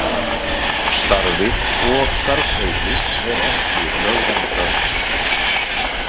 Starfið og starfsheitið er ekki lögverndað.